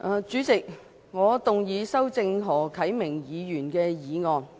主席，我動議修正何啟明議員的議案。